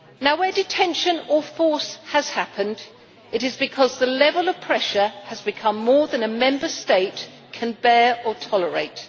Where detention or force has happened, it is because the level of pressure has become more than a Member State can bear or tolerate.